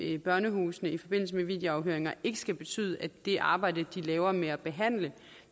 i børnehusene i forbindelse med videoafhøringer ikke skal betyde at det arbejde de laver med at behandle